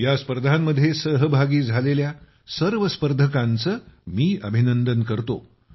या स्पर्धांमध्ये सहभागी झालेल्या सर्व स्पर्धकांचे मी अभिनंदन करतो